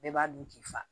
Bɛɛ b'a dun k'i fa